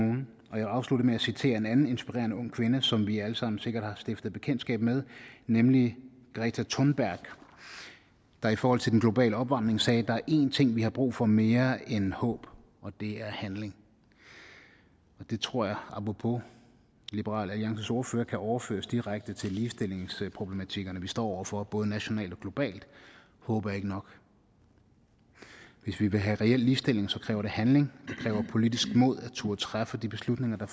vil afslutte med at citere en inspirerende ung kvinde som vi alle sammen sikkert har stiftet bekendtskab med nemlig greta thunberg der i forhold til den globale opvarmning sagde der er én ting vi har brug for mere end håb og det er handling og det tror jeg apropos liberal alliances ordfører kan overføres direkte til ligestillingsproblematikkerne vi står over for både nationalt og globalt håb er ikke nok hvis vi vil have reel ligestilling kræver det handling det kræver politisk mod at turde træffe de beslutninger